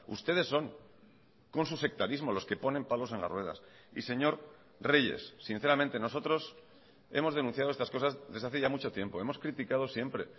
ustedes son con su sectarismo los que ponen palos en las ruedas y señor reyes sinceramente nosotros hemos denunciado estas cosas desde hace ya mucho tiempo hemos criticado siempre